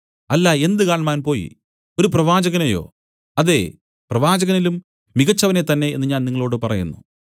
അല്ല എന്ത് കാണ്മാൻ പോയി ഒരു പ്രവാചകനെയോ അതേ പ്രവാചകനിലും മികച്ചവനെ തന്നേ എന്നു ഞാൻ നിങ്ങളോടു പറയുന്നു